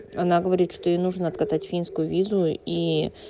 она говорит что ей нужно откатать финскую визу и